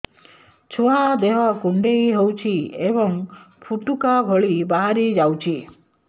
ଛୁଆ ଦେହ କୁଣ୍ଡେଇ ହଉଛି ଏବଂ ଫୁଟୁକା ଭଳି ବାହାରିଯାଉଛି